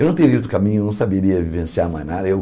Eu não teria ido no caminho, eu não saberia vivenciar mais nada eu.